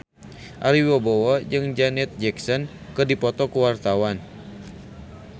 Ari Wibowo jeung Janet Jackson keur dipoto ku wartawan